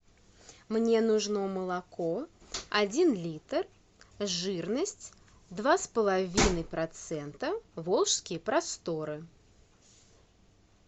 мне нужно молоко один литр жирность два с половиной процента волжские просторы